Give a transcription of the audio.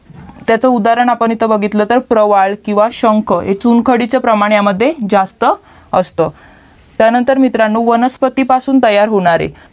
त्याचा उदाहरण इथं बघितला तर रावळ किवा शंक चुंखाडीच्या प्रमाणामद्धे जास्त असतं त्यानंतर मित्रांनो वनस्पतीपासून तयार होणारे